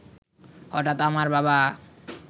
হঠাৎ আমার বাবা